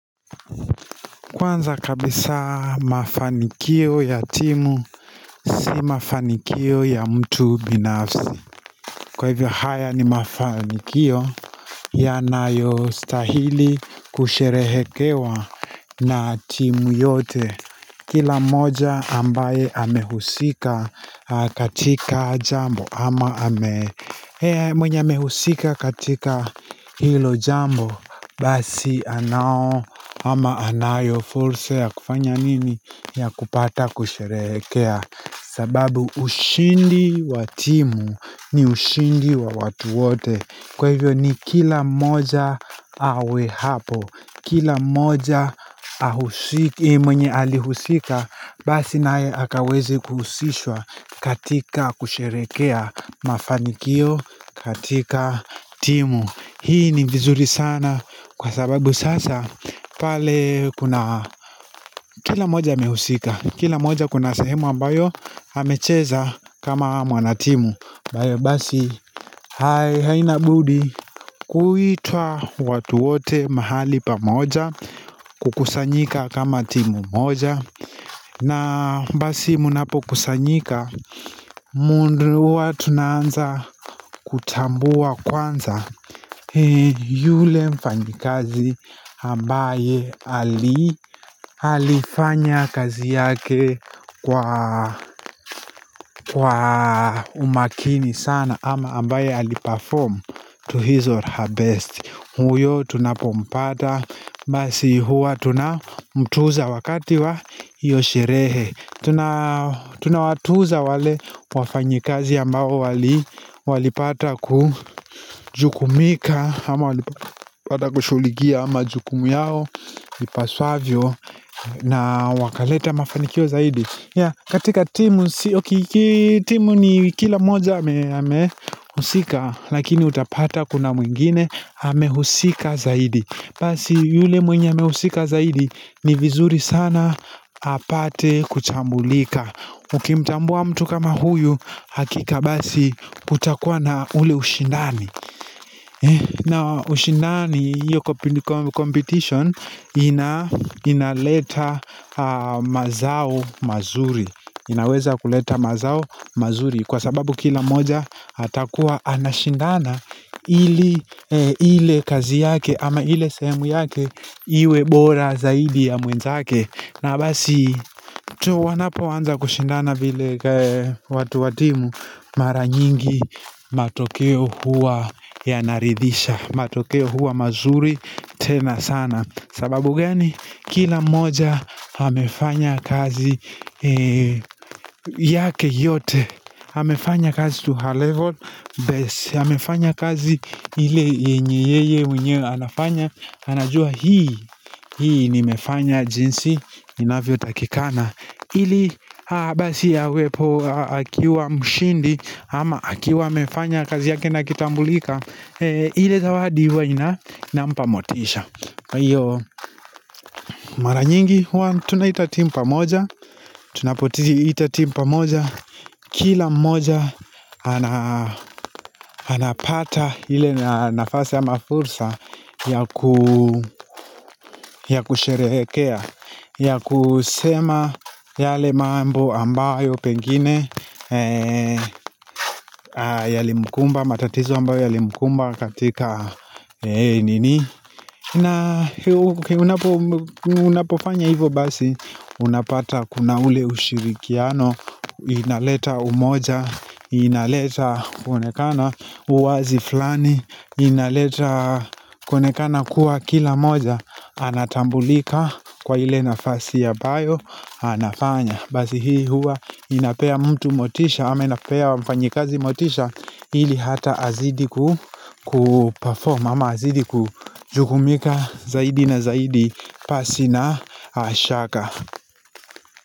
Kwanza kabisa mafanikio ya timu si mafanikio ya mtu binafsi. Kwa hivyo haya ni mafanikio yanayo stahili kusherehekewa na timu yote. Kila mmoja ambaye amehusika katika jambo ama ame mwenye amehusika katika hilo jambo Basi anao ama anayo fursa ya kufanya nini ya kupata kusherehekea sababu ushindi watimu ni ushindi wa watu wote Kwa hivyo ni kila moja awe hapo Kila moja mwenye alihusika Basi naye akaweze kuhusishwa katika kusherehekea mafanikio katika timu Hii ni vizuri sana kwa sababu sasa pale kuna Kila mmoja amehusika, kila moja kuna sehemu ambayo amecheza kama mwanatimu ambayo basi haina budi kuitwa watu wote mahali pamoja kukusanyika kama timu moja na basi munapo kusanyika mundu wa tunaanza kutambua kwanza yule mfanyikazi ambaye alifanya kazi yake kwa umakini sana ama ambaye aliperform to his or her best huyo tunapompata Basi huwa tunamtuza wakati wa hiyo sherehe Tunawatuza wale wafanyikazi ambao wali Walipata kujukumika ama walipata kushuligia ama jukumu yao Lipaswavyo na wakaleta mafanikio zaidi ya katika timu Sio kitimu ni kila moja amehusika lakini utapata kuna mwingine amehusika zaidi. Basi yule mwenye amehusika zaidi ni vizuri sana apate kuchambulika. Ukimtambua mtu kama huyu hakika basi kutakuwa na ule ushindani. Na ushindani yuko competition inaleta mazao mazuri. Inaweza kuleta mazao mazuri kwa sababu kila moja hatakuwa anashindana ili ile kazi yake ama ile sehemu yake iwe bora zaidi ya mwenzake na basi tu wanapoanza kushindana vile watu wa timu mara nyingi matokeo huwa yanaridhisha matokeo huwa mazuri tena sana sababu gani kila moja amefanya kazi yake yote amefanya kazi tu her level best amefanya kazi ili yenye yeye mwenyewe anafanya anajua hii, hii nimefanya jinsi inavyo takikana ili abasi awepo akiwa mshindi ama akiwa amefanya kazi yake nakitambulika ile zawadi huwa ina mpamotisha Iyo maranyingi huwa tunaita timu pamoja Tunapo ti itatimu pamoja Kila mmoja anapata ile nafasi ama fursa ya kusherehekea ya kusema yale mambo ambayo pengine Yalimkumba matatizo ambayo yalimkumba katika nini na unapofanya hivo basi Unapata kuna ule ushirikiano inaleta umoja inaleta kuonekana uwazi fulani inaleta konekana kuwa kila moja Anatambulika kwa ile nafasi ambayo anafanya Basi hii huwa inapea mtu motisha ama inapea mfanyikazi motisha ili hata azidi kupaform ama azidi kujukumika zaidi na zaidi pasi na shaka.